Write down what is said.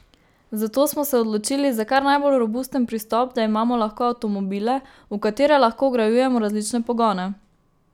Zato smo se odločili za kar najbolj robusten pristop, da imamo lahko avtomobile, v katere lahko vgrajujemo različne pogone.